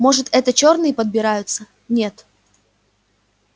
может это чёрные подбираются нет